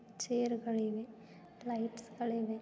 Chair ಗಳಿವೆ lights ಗಳಿವೆ.